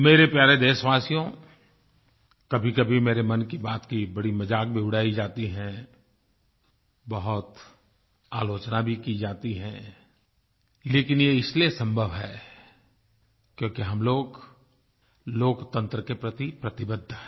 मेरे प्यारे देशवासियो कभीकभी मेरे मन की बात की बड़ी मजाक भी उड़ाई जाती है बहुत आलोचना भी की जाती है लेकिन ये इसलिये संभव है क्योंकि हम लोग लोकतंत्र के प्रति प्रतिबद्ध हैं